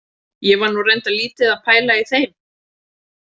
Ég var nú reyndar lítið að pæla í þeim.